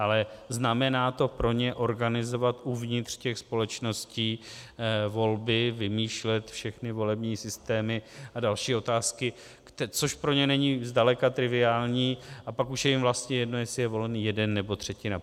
Ale znamená to pro ně organizovat uvnitř těch společností volby, vymýšlet všechny volební systémy a další otázky, což pro ně není zdaleka triviální, a pak už je jim vlastně jedno, jestli je volený jeden, nebo třetina.